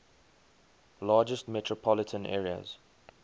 largest metropolitan areas